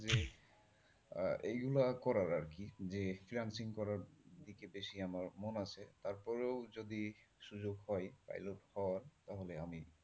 আহ এইগুলো করার আরকি যে freelancing করার দিকে বেশি আমার মন আছে তারপরেও যদি সুযোগ পাই pilot হবার তাইলে হ তাহলে আমি,